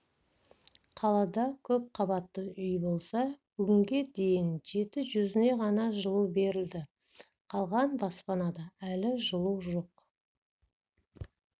қалада көбақбатты үй болса бүгінге дейін жеті жүзіне ғана жылу берлді қалған баспанада әлі жылу жоқ